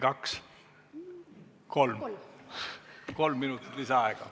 Kolm minutit lisaaega.